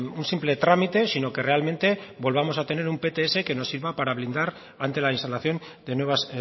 un simple trámite sino que realmente volvamos a tener un pts que nos sirva para blindar ante la instalación de nuevas